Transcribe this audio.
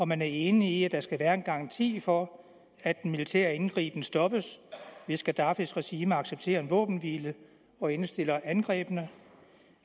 man enig i der skal være en garanti for at den militære indgriben stoppes hvis gaddafis regime accepterer en våbenhvile og indstiller angrebene